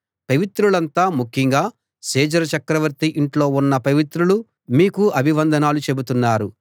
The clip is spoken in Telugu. పవిత్రులంతా ముఖ్యంగా సీజర్ చక్రవర్తి ఇంట్లో ఉన్న పవిత్రులు మీకు అభివందనాలు చెబుతున్నారు